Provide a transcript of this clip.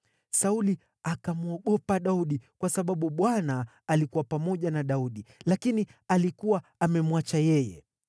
Sauli akamwogopa Daudi, kwa sababu Bwana alikuwa pamoja na Daudi, lakini alikuwa amemwacha yeye.